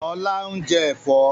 Ọlá ń jẹ́ Ẹ̀fọ́.